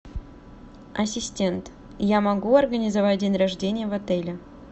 ассистент я могу организовать день рождения в отеле